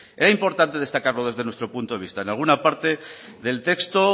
pues era importante destacarlo desde nuestro punto de vista en alguna parte del texto